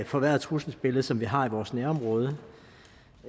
forværret trusselsbillede som vi har i vores nærområde